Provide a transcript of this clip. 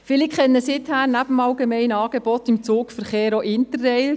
Viele kennen seither, neben dem allgemeinen Angebot beim Zugverkehr, auch Interrail.